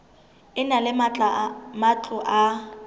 e na le matlo a